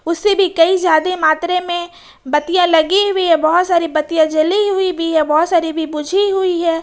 से भी कई ज्यादा मात्रा में बतिया लगे हुए बहुत सारी बतिया जली हुई भी है बहुत सारी भी बुझी हुई है।